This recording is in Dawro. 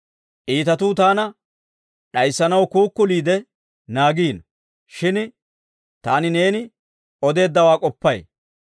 Iitatuu taana d'ayissanaw kuukuliide naagiino; shin taani neeni odeeddawaa k'oppay.